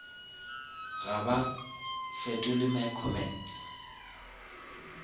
ga ba fetole my comments